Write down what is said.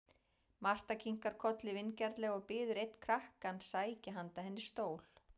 Marta kinkar kolli vingjarnlega og biður einn krakkann sækja handa henni stól.